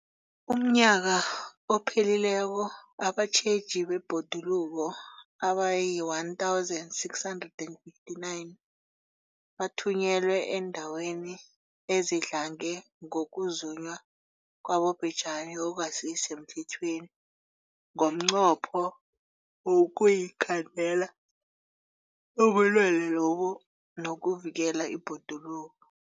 UmNnyaka ophelileko abatjheji bebhoduluko abayi-1 659 bathunyelwa eendaweni ezidlange ngokuzunywa kwabobhejani okungasi semthethweni ngomnqopho wokuyokukhandela ubulelesobu nokuvikela ibhoduluko.